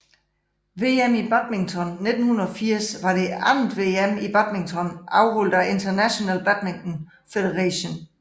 VM i badminton 1980 var det andet VM i badminton afholdt af International Badminton Federation